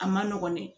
A ma nɔgɔn dɛ